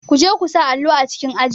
Kuje ku sa allo a cikin aji.